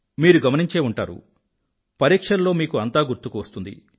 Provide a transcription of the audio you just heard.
మీరు గమనించే ఉంటారు పరీక్షల్లో మీకు అంతా గుర్తుకువస్తుంది